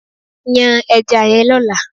Yan ẹja yẹn lọ́la!